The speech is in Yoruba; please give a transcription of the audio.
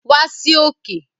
Wa sí òkè